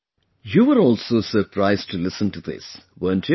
You were also surprised to listen to this, weren't you